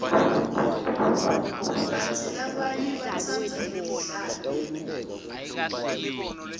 kantsi labanye batsandza imidlalo yekulwa